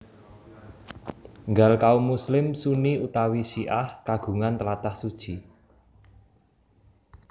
Nggal kaum muslim Sunni utawi Syi ah kagungan tlatah suci